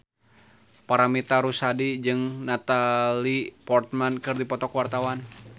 Paramitha Rusady jeung Natalie Portman keur dipoto ku wartawan